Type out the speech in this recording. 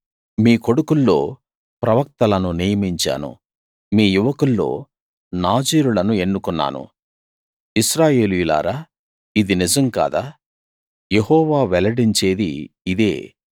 మీ కొడుకుల్లో ప్రవక్తలను నియమించాను మీ యువకుల్లో నాజీరులను ఎన్నుకున్నాను ఇశ్రాయేలీయులారా ఇది నిజం కాదా యెహోవా వెల్లడించేది ఇదే